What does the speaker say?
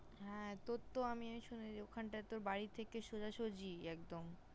হ্যাঁ তোর তো আমি ওখানটায় তোর বাড়ি থেকে সোজাসুজি একদম।